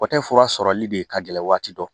Kɔtɛ fura sɔrɔli de ye ka gɛlɛn waati dɔ